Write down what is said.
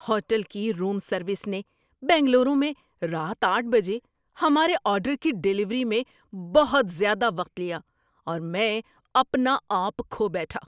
Hotel کی room service نے بنگلورو میں رات آٹھ بجے ہمارے آرڈر کی ڈیلیوری میں بہت زیادہ وقت لیا، اور میں اپنا آپ کھو بیٹھا۔